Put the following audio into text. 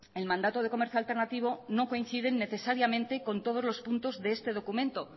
el mandato de comercio alternativo no coinciden necesariamente con todos los puntos de este documento